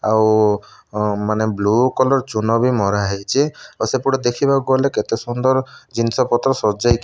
ଆଉ ମାନେ blue colour ଚୂନବି ମରାହେଇଚି ଆଉ ସେପଟେ ଦେଖିବାକୁ ଗଲେ କେତେ ସୁନ୍ଦର ଜିନିଷ ପତ୍ର ସଜେଇକି --